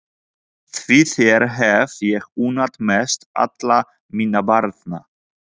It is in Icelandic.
Því þér hef ég unnað mest allra minna barna.